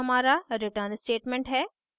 यह हमारा return statement है